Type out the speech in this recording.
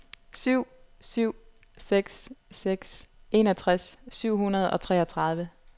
syv syv seks seks enogtres syv hundrede og treogtredive